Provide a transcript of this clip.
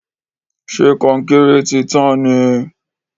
ṣe Kọnkéré tí tàn ní